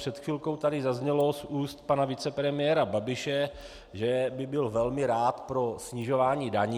Před chvilkou tady zaznělo z úst pana vicepremiéra Babiše, že by byl velmi rád pro snižování daní.